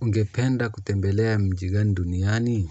Ungependa kutembelea mji gani duniani.